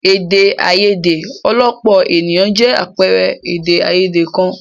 Èdè àìyedè ọlọ́pọ̀ ènìyàn jẹ́ àpẹẹrẹ èdè àìyedè kan.